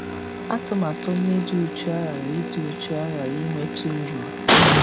Atụmatụ onye dị uchu aghaghị dị uchu aghaghị iweta uru.